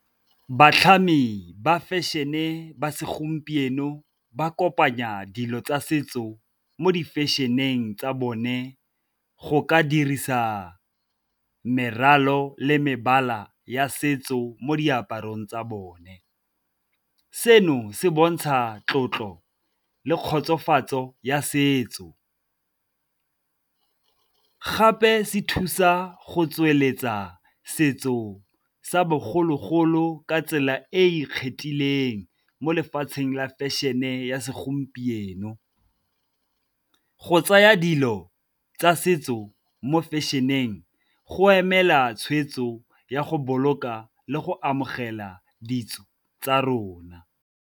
Batlhami ba fashion-e ba segompieno ba kopanya dilo tsa setso mo di-fashion-eng tsa bone go ka dirisa meralo le mebala ya setso mo diaparong tsa bone. Seno se bontsha tlotlo le kgotsofatso ya setso, gape se thusa go tsweletsa setso sa bogologolo ka tsela e e ikgethileng mo lefatsheng la fashion-e ya segompieno. Go tsaya dilo tsa setso mo fashion-eng go emela tshweetso ya go boloka le go amogela ditso tsa rona.